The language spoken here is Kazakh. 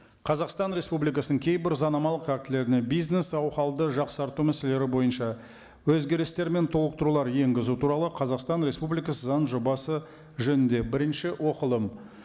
қазақстан республикасының кейбір заңнамалық актілеріне бизнес жақсарту мәселелері бойынша өзгерістер мен толықтырулар енгізу туралы қазақстан республикасы заң жобасы жөнінде бірінші оқылым